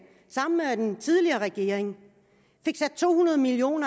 sammen med den tidligere regering sat to hundrede million